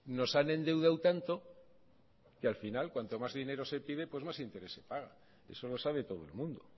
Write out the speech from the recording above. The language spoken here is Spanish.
nos han endeudado tanto que al final cuanto más dinero se pide pues más interés se paga eso lo sabe todo el mundo